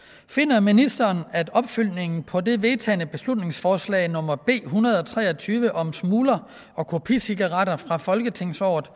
finder ministeren at opfølgningen på det vedtagne beslutningsforslag nummer b en hundrede og tre og tyve om smugler og kopicigaretter fra folketingsåret